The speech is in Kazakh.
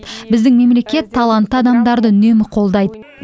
біздің мемлекет талантты адамдарды үнемі қолдайды